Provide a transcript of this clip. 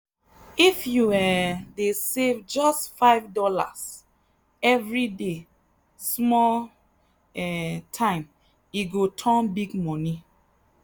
if you um dey save just $5 every day small um time e go turn big money.